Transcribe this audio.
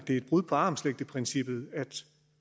et brud på armslængdeprincippet